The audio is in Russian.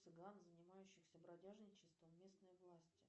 цыган занимающихся бродяжничеством местные власти